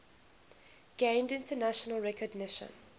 gained international recognition